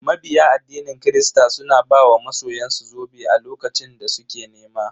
Mabiya addinin kirista suna ba wa masoyan su zobe a lokacin da suke nema.